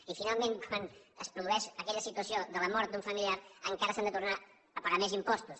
i finalment quan es produeix aquella situació de la mort d’un familiar encara s’han de tornar a pagar més impostos